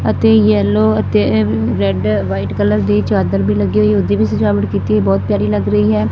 ਅਤੇ ਯੈੱਲੋ ਅਤੇ red white colour ਦੇ ਚਾਦਰ ਵੀ ਲੱਗੇ ਹੋਏ ਜਿਵੇਂ ਸਜਾਵਟ ਕੀਤੀ ਹੈ ਬਹੁਤ ਪਿਆਰੀ ਲੱਗ ਰਹੀ ਹੈ।